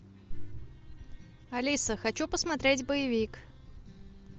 алиса хочу посмотреть боевик